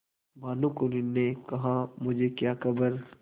भानुकुँवरि ने कहामुझे क्या खबर